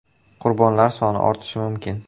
Qurbonlar soni ortishi mumkin.